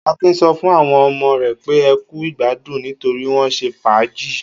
Akin sọ fún àwọn ọmọ rẹ̀ pé ẹ kú ìgbádùn nítorí wọ́n ṣe fàájì.